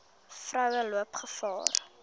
vroue loop gevaar